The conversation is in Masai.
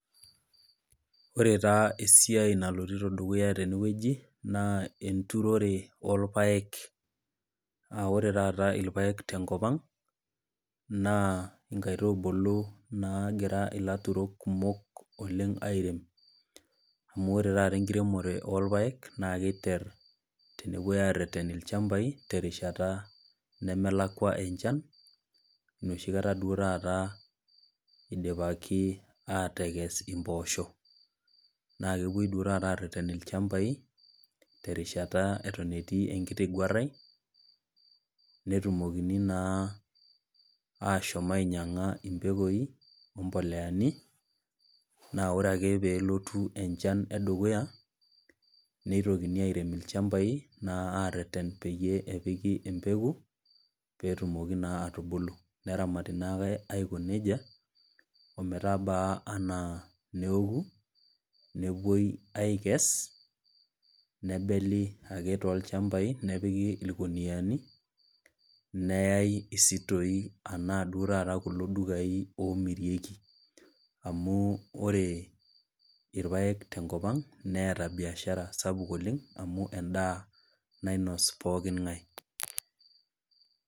Ore taa esiai nalotito dukuya tenewueji naa enturore olpaek, naa ore taata ilpaek tenkop ang' naa inkaitubulu naagira ilairemok kumok oleng' airem, amu ore taata enkiremore olpaek, naake eiter tenepuoi airem ilchambai terrishata nemelakwa enchan, nooshikata duo taata eidipaki, aatekes impoosho. Naa kepuoi duo taata areeten ilchambai, terishata eton etii enkiti guarai, netumokini naa ashom ainyang'a impekoi o impoleani, naa ore ake pee elotu enchan e dukuya nneitokini airem ilchambai naa areten peyie epiki empeko, ppee etumoki naa atubulu, neramati naake aiko neija ometabaa anaa neoku, nepuoi aikes, nebeli ake toolchambai nepiki ilkuniani, neyai isitoi, ashu duo taata kulo dukai oomirieki, amu ore ilpaek tenkop ang' neata baishara sapuk oleng' amu endaa nainos pooking'ai.